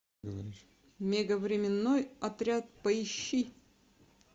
мега временной отряд поищи